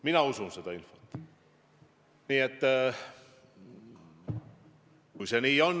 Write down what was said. Mina usun seda infot.